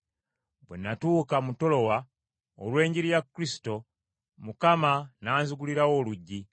Bwe natuuka mu Tulowa olw’enjiri ya Kristo, Mukama n’anzigulirawo oluggi,